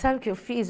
Sabe o que eu fiz?